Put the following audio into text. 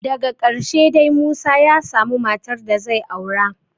Daka ƙarshe dai Musa ya samu matar da zai aura